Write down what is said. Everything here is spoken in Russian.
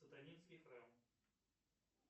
сатанинский храм